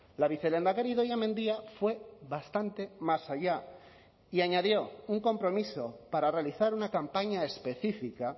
la vicelehendakari idoia mendia fue bastante más allá y añadió un compromiso para realizar una campaña específica